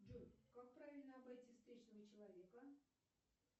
джой как правильно обойти встречного человека